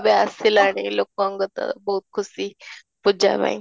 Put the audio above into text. ଏବେ ଆସିଲାଣି ଲୋକଙ୍କ ତ ବହୁତ ଖୁସି ପୂଜା ପାଇଁ